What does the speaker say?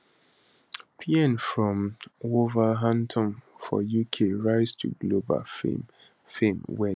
payne from wolverhampton for uk rise to global fame fame wen